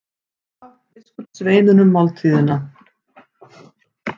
Hann gaf biskupssveinunum máltíðina.